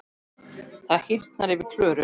Það hýrnar yfir Klöru.